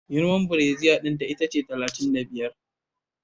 Girman brasier dinta talatin da biyar ne